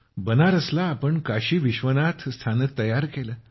बनारसला साहेब आपण काशी विश्वनाथ स्थानक तयार केलं